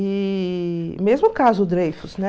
E mesmo o caso Dreyfus, né?